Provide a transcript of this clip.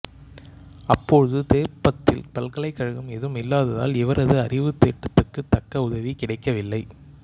அப்போது தோர்பத்தில் பல்கலைக்கழகம் ஏதும் இல்லாத்தால் இவரது அரிவுத்தேட்ட்த்துக்கு தக்க உதவி கிடைக்கவில்லை